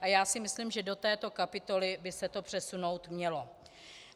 A já si myslím, že do této kapitoly by se to přesunout mělo.